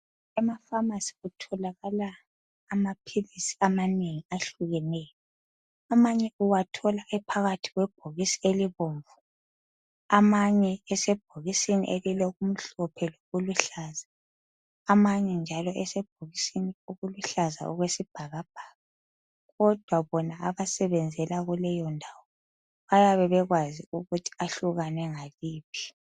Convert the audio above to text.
Emakhemisi kutholakala amaphilisi amanengi ahlukeneyo. Amanye uwathola ephakathi kwebhokisi elibomvu amanye esebhokisini elilokumhlophe lokuluhlaza amanye njalo esebhokisini eliluhlaza okwesibhakabhaka. Kodwa bona abasebenzela kuleyondawo bayabe bekwazi ukuthi ahlukane ngaliphi.